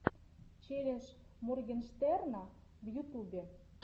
челлендж моргенштерна в ютубе